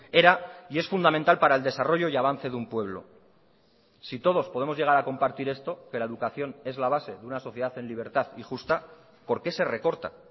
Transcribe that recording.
era y es fundamental para el desarrollo y avance de un pueblo si todos podemos llegar a compartir esto que la educación es la base de una sociedad en libertad y justa por qué se recorta